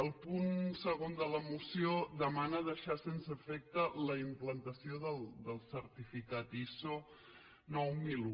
el punt segon de la moció demana deixar sense efecte la implantació del certificat iso nou mil un